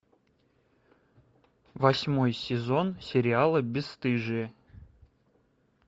восьмой сезон сериала бесстыжие